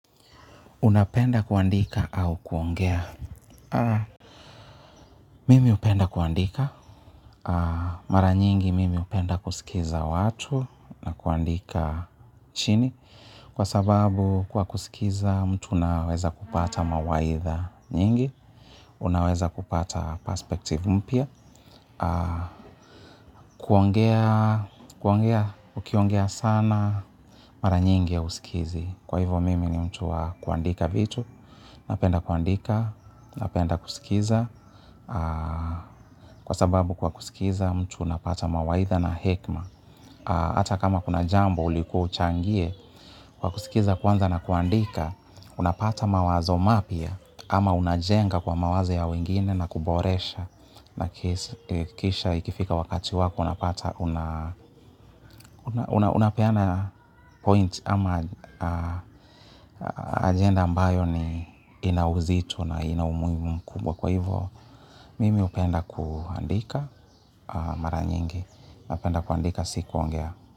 Unapenda kuandika au kuongea? Mimi upenda kuandika. Mara nyingi mimi hupenda kusikiza watu na kuandika chini. Kwa sababu kwa kusikiza mtu unaweza kupata mawaitha nyingi. Unaweza kupata perspective mpya. Kuongea, kuongea, ukiongea sana. Mara nyingi ya hausikizi. Kwa hivo mimi ni mtu wa kuandika vitu. Napenda kuandika, napenda kusikiza, kwa sababu kwa kusikiza mtu unapata mawaitha na hekma. Ata kama kuna jambo ulikua uchangie, kwa kusikiza kwanza na kuandika, unapata mawazo mapya, ama unajenga kwa mawazo ya wengine na kuboresha. Na kisha ikifika wakati wako, unapata, unapeana point ama agenda ambayo ni inauzito na ina umuhimu mkumbwa. Kwa hivo, mimi hupenda kuandika mara nyingi, napenda kuandika sikuongea.